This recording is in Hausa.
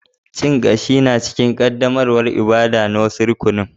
Cin kashi na cikin qaddamarwan ibada'n na wasu rukuni.